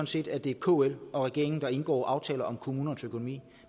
set at det er kl og regeringen der indgår aftaler om kommunernes økonomi